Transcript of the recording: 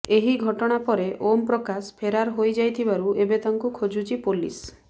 ଏହି ଘଟଣା ପରେ ଓମ୍ ପ୍ରକାଶ ଫେରାର ହୋଇଯାଇଥିବାରୁ ଏବେ ତାଙ୍କୁ ଖୋଜୁଛି ପୋଲିସ